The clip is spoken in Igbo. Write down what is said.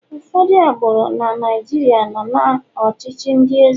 ụfọdụ agbụrụ na Naijiria nọ na ọchịchị ndi eze